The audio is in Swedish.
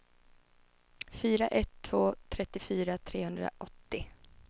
fyra ett ett två trettiofyra trehundraåttio